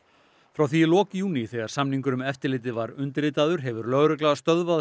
frá því í lok júní þegar samningur um eftirlitið var undirritaður hefur lögregla stöðvað